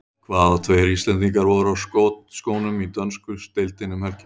Hvaða tveir Íslendingar voru á skotskónum í dönsku deildinni um helgina?